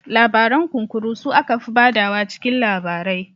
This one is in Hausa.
Labaran Kunkuru su aka fi ba da wa cikin labarai